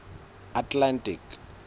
atlantic